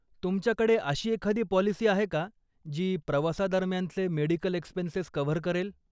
तुमच्या कडे अशी एखादी पॉलिसी आहे का, जी प्रवासा दरम्यानचे मेडिकल एक्स्पेन्सेस कव्हर करेल.